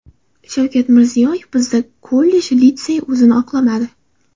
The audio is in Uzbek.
Shavkat Mirziyoyev: Bizda kollej-litseylar o‘zini oqlamadi.